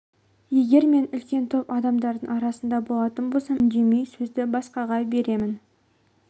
егер мен үлкен топ адамдарының арасында болатын болсам үндемей сөзді басқаға беремін